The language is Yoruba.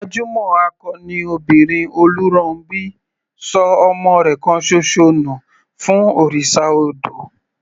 Gbajúmọ̀ akọni obìnrin Oluronbi ṣọ ọmọ rẹ̀ kan ṣoṣo nù fún òrìṣà odò.